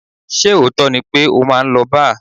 Ṣé òótọ́ ni pé o máa ń lọ bar?